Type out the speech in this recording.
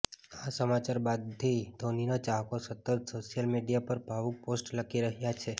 આ સમાચાર બાદથી ધોનીના ચાહકો સતત સોશિયલ મીડિયા પર ભાવુક પોસ્ટ્સ લખી રહ્યા છે